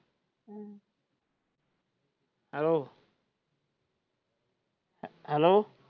hello hello